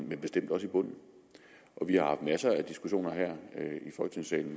men bestemt også i bunden og vi har haft masser af diskussioner her